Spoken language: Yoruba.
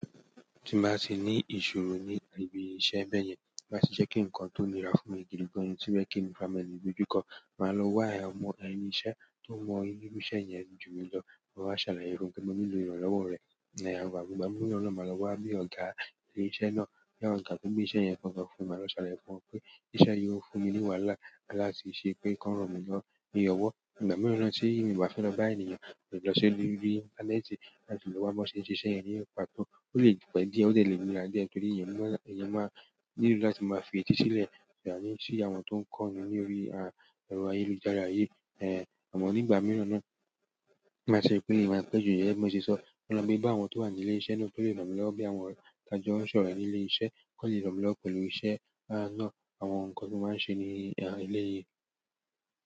Tí báa tì ní ìṣòro ní ibi iṣẹ́ bẹ́ẹ̀ yẹn, má sì ṣe kí ǹkan tó le ra fún mi gidi gan ni, tí bẹ́ẹ̀ kí mi fúnra mi o le doju kọ́. Màá lọ wá ẹ ọmọ ẹnu iṣẹ́ tó mọ irú iṣẹ́ yẹn jù mi lọ, ma wáa sàlàyé fún un pé mo ní lò ìrànlọ́wọ́ rẹ̀. Ìgbà mìíràn náà, màá lọ wá bí ọ̀gá ilé iṣẹ́ náà, tàbí togbe iṣẹ́ yẹn gan-gan fún mi, màá lọ ṣàlàyé fún wọn pé iṣẹ́ yi óò fún mi ní wàhálà láti ṣe pé kan ran mí lọ́wọ́. Ìgbà mìíràn náà tí mo bá fẹ́ lọ bá ènìyàn mòle lọ ṣi orí íńtánẹ́ẹ̀tì làti lọ wá bi wọn ṣe nṣe iṣẹ́ yẹn ni pàtó. Ó lè pẹ́ díẹ̀, ó dẹ le nira diẹ tòri, èèyàn máa nílò láti máa fi ètí sílẹ̀, àní sì àwọn tó ń kọ́ni lórí ẹ̀rọ ayélujára yìí. Ẹ̀, àmọ́ ní ìgbà mìíràn náà, màá ṣe pé, èèyàn màá pẹ́ ju yẹn bi mọ́ ṣe sọ. Mole lọ gbe bá àwọn tó wà ní ilé iṣẹ́ náà tó lè ràn mí lọ́wọ́ bí àwọn tàá jọ n ṣọ̀rẹ ní ilé iṣẹ́, kọ́ le ràn mí lọ́wọ́ pẹ̀lú iṣẹ́ náà, àwọn ǹkan tí mo máa ń ṣe ní eléyìí.